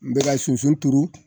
N bɛ ka sunsun turu